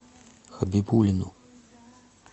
хабибуллину